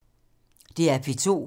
DR P2